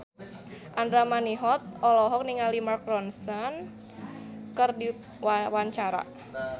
Andra Manihot olohok ningali Mark Ronson keur diwawancara